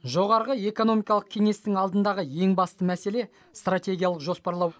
жоғарғы экономикалық кеңестің алдындағы ең басты мәселе стратегиялық жоспарлау